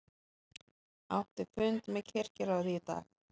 Átti fund með kirkjuráði í dag